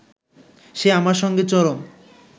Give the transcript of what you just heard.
সে আমার সঙ্গে চরম